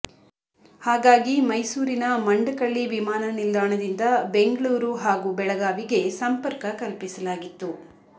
ಹಾಗಾಗಿ ಮೈಸೂರಿನ ಮಂಡಕಳ್ಳಿ ವಿಮಾನ ನಿಲ್ದಾಣದಿಂದ ಬೆಂಗಳೂರು ಹಾಗೂ ಬೆಳಗಾವಿಗೆ ಸಂಪರ್ಕ ಕಲ್ಪಿಸಲಾಗಿತ್ತು